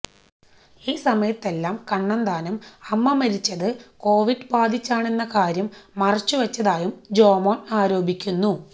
ഈ സമയത്തെല്ലാം കണ്ണന്താനം അമ്മ മരിച്ചത് കോവിഡ് ബാധിച്ചാണെന്ന കാര്യം മറച്ചുവെച്ചതായും ജോമോന് ആരോപിക്കുന്നു